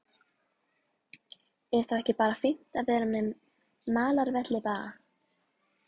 Er þá ekki bara fínt að vera með malarvelli bara?